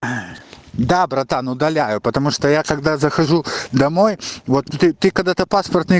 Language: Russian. да братан удаляю потому что я когда захожу домой вот ты ты когда-то паспортный